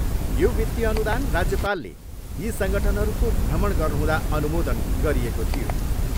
यो वित्तिय अनुदान राज्यपालले यी सङ्गठनहरूको भ्रमण गर्नुहुँदा अनुमोदन गरिएको थियो।